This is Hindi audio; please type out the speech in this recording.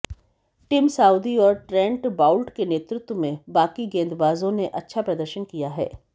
टिम साउदी और ट्रेंट बाउल्ट के नेतृत्व में बाकी गेंदबाजों ने अच्छा प्रदर्शन किया है